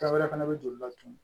Dɔ wɛrɛ fɛnɛ be joli latunu